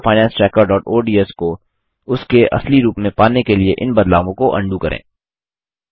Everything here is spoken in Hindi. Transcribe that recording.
अपनी personal finance trackerओडीएस को उसके असली रूप में पाने के लिए इन बदलावों को अन्डू करें